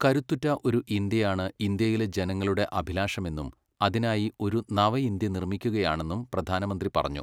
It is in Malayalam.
കരുത്തുറ്റ ഒരു ഇന്ത്യയാണ് ഇന്ത്യയിലെ ജനങ്ങളുടെ അഭിലാഷമെന്നും അതിനായി ഒരു നവഇന്ത്യ നിർമ്മിക്കുകയാണെന്നും പ്രധാനമന്ത്രി പറഞ്ഞു.